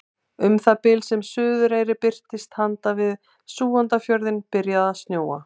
Um það bil sem Suðureyri birtist handan við Súgandafjörðinn byrjaði að snjóa.